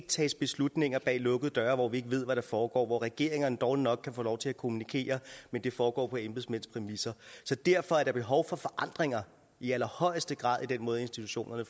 tages beslutninger bag lukkede døre hvor vi ikke ved hvad der foregår hvor regeringerne dårligt nok kan få lov til at kommunikere men det foregår på embedsmænds præmisser så derfor er der behov for forandringer i allerhøjeste grad i den måde institutionerne